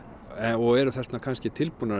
og eru kannski tilbúnir